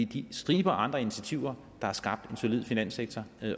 den stribe af andre initiativer der har skabt en solid finanssektor